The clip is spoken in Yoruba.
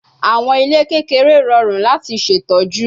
Awọn ile kekere rọrun lati ṣetọju